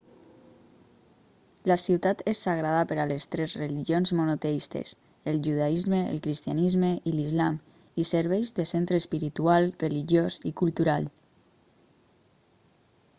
la ciutat és sagrada per a les tres religions monoteistes el judaisme el cristianisme i l'islam i serveix de centre espiritual religiós i cultural